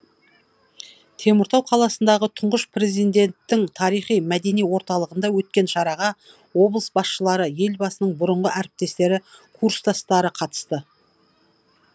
теміртау қаласындағы тұңғыш президенттің тарихи мәдени орталығында өткен шараға облыс басшылары елбасының бұрынғы әріптестері курстастары қатысты